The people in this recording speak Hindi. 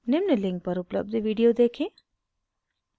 निम्न link पर उपलब्ध video देखें